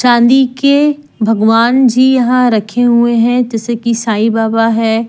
चांदी के भगवान जी यहां रखे हुए हैंजैसे कि साईं बाबा हैं।